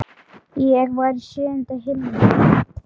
Ég var í sjöunda himni.